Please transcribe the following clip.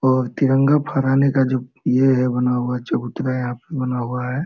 और तीरंगा फराने का जो ये हैं बना हुआ चबूतरा यहाँ पे बना हुआ है।